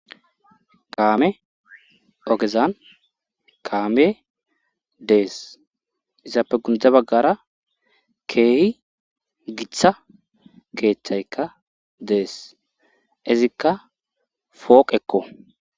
kaame ogezan kaame dees izaape gunde baggara keeyi giita keeththaykka dees izikka fooqekko